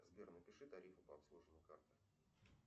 сбер напиши тарифы по обслуживанию карты